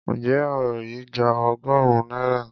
Ǹjẹ́ òro yìí gba ọgọ́rùn-ún náírà?